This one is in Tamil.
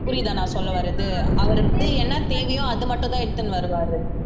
புரியுதாநான் சொல்ல வர்றது அவருக்கு வந்து என்ன தேவையோ அது மட்டும்தான் எடுத்துன்னு வருவாரு